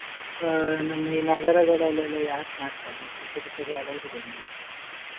ಆ ನಮ್ಮ ಈ ನಗರಗಳಲ್ಲಿ ಎಲ್ಲ ಯಾರು ಮಾಡ್ತಾರೆ ಚಿಕ್ಕ ಚಿಕ್ಕ ಜಾಗ ಇರುದು ಎಲ್ಲರತ್ರಸ.